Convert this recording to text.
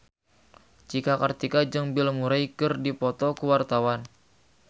Cika Kartika jeung Bill Murray keur dipoto ku wartawan